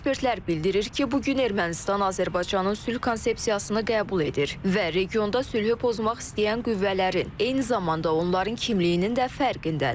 Ekspertlər bildirir ki, bu gün Ermənistan Azərbaycanın sülh konsepsiyasını qəbul edir və regionda sülhü pozmaq istəyən qüvvələrin, eyni zamanda onların kimliyinin də fərqindədir.